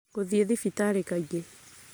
gũthiĩ thibitarĩ kaingĩ,